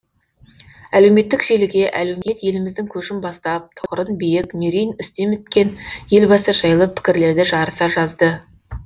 әлеуметтік желіге әлеумет еліміздің көшін бастап тұғырын биік мерейін үстем еткен елбасы жайлы пікірлерді жарыса жазды